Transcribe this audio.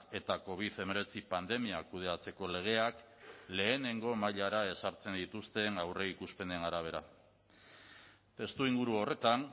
eta covid hemeretzi pandemia kudeatzeko legeak lehenengo mailara ezartzen dituzten aurreikuspenen arabera testuinguru horretan